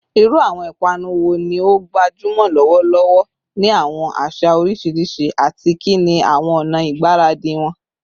Iru awọn ipanu wo ni o gbajumọ lọwọlọwọ ni awọn aṣa oriṣiriṣi, ati kini awọn ọna igbaradi wọn?